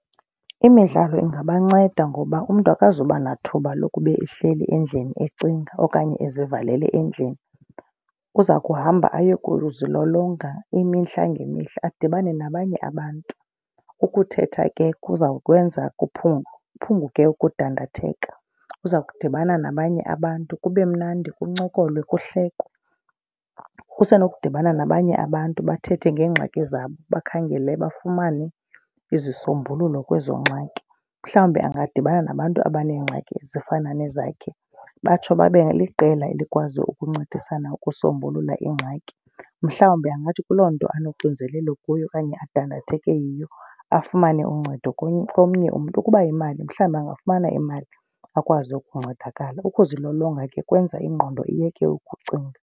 Imidlalo ingabanceda ngoba umntu akazuba nathuba lokuba ehleli endlini ecinga okanye azivalele endlini. Uzakuhamba aye kuyozilolonga imihla ngemihla adibane nabanye abantu. Ukuthetha ke kuza kwenza kuphume kuphunguke ukudandatheka. Uza kudibana nabanye abantu kube mnandi kuncokolwe kuhlekwe. Usenokudibana nabanye abantu bathethe ngeengxaki zabo, bakhangele bafumane izisombululo kwezo ngxaki. Mhlawumbi bangadibana nabantu abaneengxaki ezifana nezi zakhe batsho babe liqela elikwazi ukuncedisana ukusombulula iingxaki. Mhlawumbi angathi kuloo nto anoxinzelelo kuyo okanye adandatheke yiyo afumane uncedo komnye umntu. Ukuba yimali mhlawumbi angafumana imali akwazi ukuncedakala, ukuzilolonga ke kwenza ingqondo iyeke ukucinga.